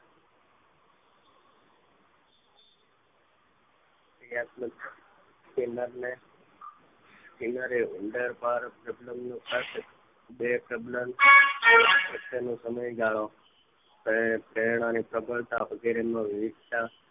પ્રતિક્રિયાતમક તેમાંને છેવટે ઉંદર બાર સબ્લમ નો બે સબ્લમ સમય ગાળો કરેના પ્રક્રિયા વગેરે